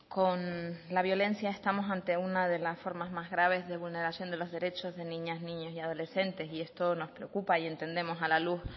con la violencia estamos ante una de las formas más graves de vulneración de los derechos de niñas niños y adolescentes y esto nos preocupa y entendemos a la luz